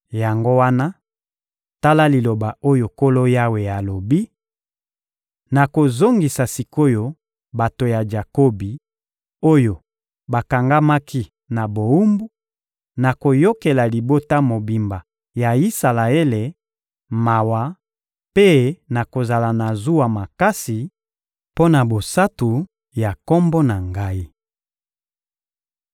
Yango wana, tala liloba oyo Nkolo Yawe alobi: Nakozongisa sik’oyo bato ya Jakobi oyo bakangamaki na bowumbu, nakoyokela libota mobimba ya Isalaele mawa mpe nakozala na zuwa makasi mpo na bosantu ya Kombo na Ngai.